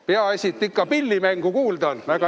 Peaasi, et ikka pillimängu kuulda on!